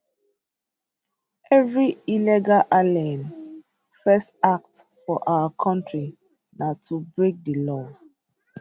evri illegal alien first act for our kontri na to break di law